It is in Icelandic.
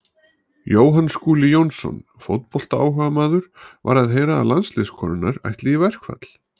Jóhann Skúli Jónsson, fótboltaáhugamaður: Var að heyra að landsliðskonurnar ætli í verkfall.